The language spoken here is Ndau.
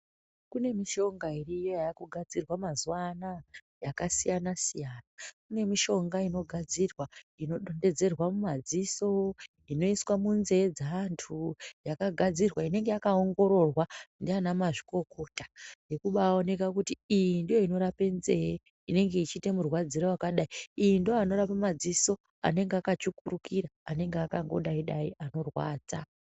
Kune mishonga iriyo yakugadzirwa mazuva anaya yakasiyana-siyana. Kune mishonga inogadzirwa inodonhedzerwa mumadziso, inoiswa munzee dzeantu yakagarwa inenge yakaongororwa ndiana mazvikokota. Nekubaoneka kuti iyi ndiyo inorapa nzee inenge ichiite murwadzire vakadai. Ndiyo inorapa madziso anenge akatsvukurukira anenge akangodai-dai anorwadza.